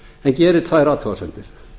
en gerir tvær athugasemdir